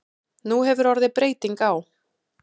Nú hefur orðið breyting á.